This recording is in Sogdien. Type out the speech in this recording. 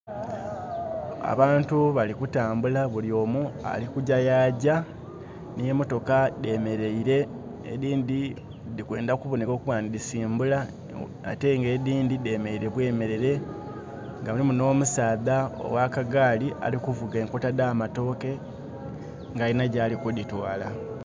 Abantu bali kutambula, bulyomu alikujja yagya. N'emotoka dhemeleire, edhindi dhili kwenda kuboneka okuba nti dhisimbula, ate nga edhindi dhemeleire bwemelere. Nga mulimu nomusaadha owakagaali ali kuvuga enkota dh'amatooke, nga alina gyali kudhitwaala.